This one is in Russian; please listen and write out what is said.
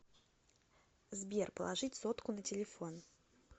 сбер положить сотку на телефон